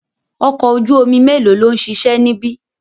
Ọkọ̀ ojú omi melo lòun ṣiṣẹ́ níbi?